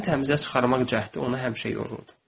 Özünü təmizə çıxarmaq cəhdi onu həmişə yorur.